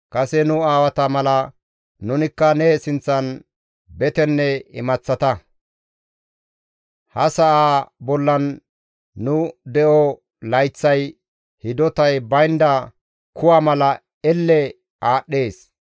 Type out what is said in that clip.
Kase nu aawata mala nunikka ne sinththan betenne imaththata; ha sa7aa bollan nu de7o layththay hidotay baynda kuwa mala elle aadhdhees.